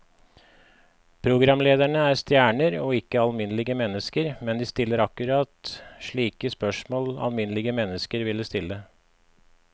Programlederne er stjerner og ikke alminnelige mennesker, men de stiller akkurat slike spørsmål alminnelige mennesker ville stille.